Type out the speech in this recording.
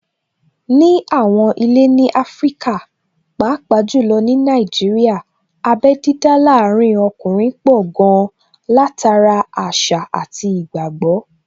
Ní àwọn ilé ní Áfríkà, pàápàá jù lọ ní Nàìjíríà, abé dídá láàrin ọkùnrin pọ̀ gan-an, látara àṣà àti ìgbàgbọ́